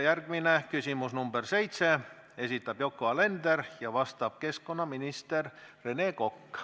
Järgmine küsimus on nr 7, selle esitab Yoko Alender ja vastab keskkonnaminister Rene Kokk.